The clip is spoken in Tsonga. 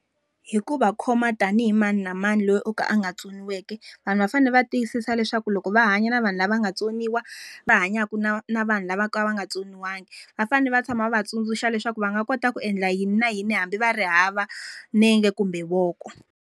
Hi ku va khoma tanihi mani na mani loyi o ka a nga tsoniweki. Vanhu va fanele va tiyisisa leswaku loko va hanya na vanhu lava nga tsoniwa, va hanyaka na na vanhu lava ka va nga tsoniwangiki. Va fanele va tshama va tsundzuxa leswaku va nga kota ku endla yini na yini hambi va ri hava nenge kumbe voko.